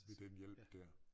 Ved den hjælp dér